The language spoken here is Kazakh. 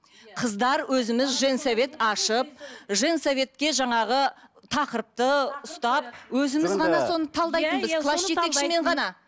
қыздар өзіміз женсовет ашып женсоветке жаңағы тақырыпты ұстап өзіміз класс жетекшімен ғана